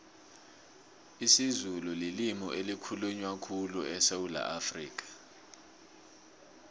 isizulu lilimu elikhulunywa khulu esewula afrikha